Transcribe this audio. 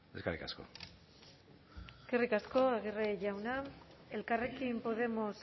eskerrik asko eskerrik asko aguirre jauna elkarrekin podemos